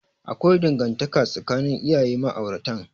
Akwai dangantaka tsakanin iyayen ma'auratan.